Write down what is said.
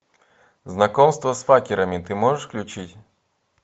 знакомство с факерами ты можешь включить